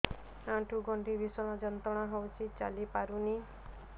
ଆଣ୍ଠୁ ଗଣ୍ଠି ଭିଷଣ ଯନ୍ତ୍ରଣା ହଉଛି ଚାଲି ପାରୁନି